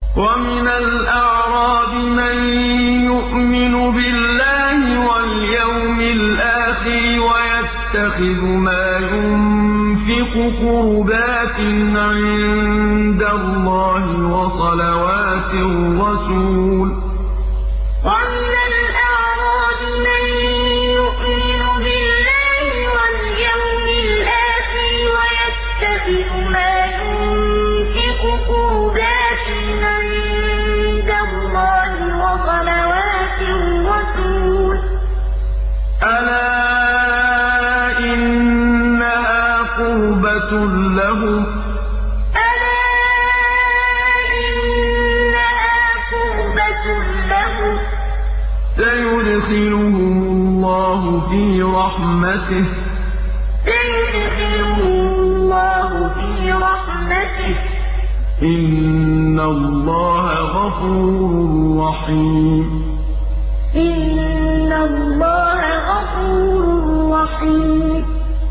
وَمِنَ الْأَعْرَابِ مَن يُؤْمِنُ بِاللَّهِ وَالْيَوْمِ الْآخِرِ وَيَتَّخِذُ مَا يُنفِقُ قُرُبَاتٍ عِندَ اللَّهِ وَصَلَوَاتِ الرَّسُولِ ۚ أَلَا إِنَّهَا قُرْبَةٌ لَّهُمْ ۚ سَيُدْخِلُهُمُ اللَّهُ فِي رَحْمَتِهِ ۗ إِنَّ اللَّهَ غَفُورٌ رَّحِيمٌ وَمِنَ الْأَعْرَابِ مَن يُؤْمِنُ بِاللَّهِ وَالْيَوْمِ الْآخِرِ وَيَتَّخِذُ مَا يُنفِقُ قُرُبَاتٍ عِندَ اللَّهِ وَصَلَوَاتِ الرَّسُولِ ۚ أَلَا إِنَّهَا قُرْبَةٌ لَّهُمْ ۚ سَيُدْخِلُهُمُ اللَّهُ فِي رَحْمَتِهِ ۗ إِنَّ اللَّهَ غَفُورٌ رَّحِيمٌ